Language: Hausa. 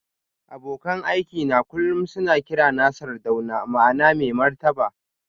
Abokan aikina kullum suna kirana Sardauna ma'ana mai martaba